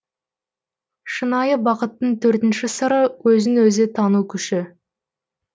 шынайы бақыттың төртінші сыры өзін өзі тану күші